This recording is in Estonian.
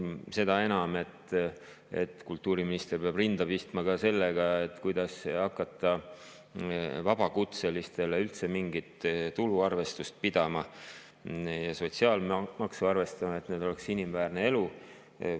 Seda enam, et kultuuriminister peab rinda pistma ka sellega, kuidas hakata vabakutselistel üldse mingit tuluarvestust pidama ja neile sotsiaalmaksu arvestama, et neil oleks inimväärne elu.